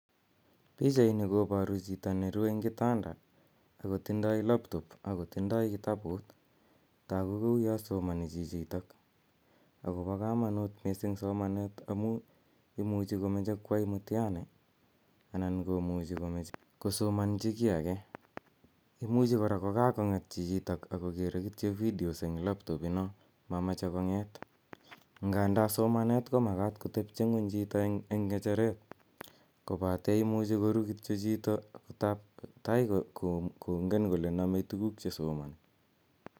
Pichaini koparu chito ne rue eng' kitanda ako tindai [laptop, ako tindai kitabut. Tagu kou ya somani chichitok akopa kamanut missing' somanet amu imuchi komache koyai mtihani anan komuchi komache kosomanchi ki age. Imuchi kora ko kakong'et chichitok ako kere kityo videos eng' laptop ino mamache kong'eet. Ndanda somanet ko makat kotepche ng'uny chito eng' ng'echeret kopate imuchi koru kityo chito, tai kongen kole name tuguk che somani.